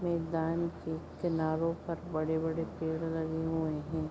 मैदान के किनारों पर बड़े-बड़े पेड़ लगे हुए हैं।